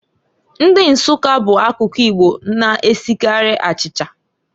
Ndi Nsukka bụ akụkụ Igbo na-esikarị achicha.